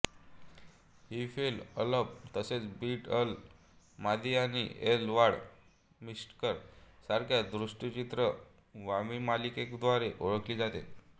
ही फेल अलब तसेच बीट अल मादी आणि एल वाड मिस्टिकर सारख्या दूरचित्रवाणीमालिकांद्वारे ओळखली जाते